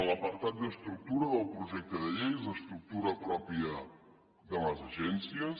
l’apartat d’estructura del projecte de llei és l’estructura pròpia de les agències